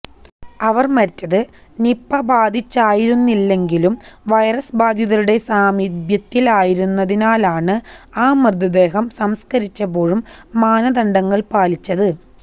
അവര് മരിച്ചത് നിപ ബാധിച്ചായിരുന്നില്ലെങ്കിലും വൈറസ് ബാധിതരുടെ സാമിപ്യത്തിലായിരുന്നതിനാലാണ് ആ മൃതദേഹം സംസ്കരിച്ചപ്പോഴും മാനദണ്ഡങ്ങള് പാലിച്ചത്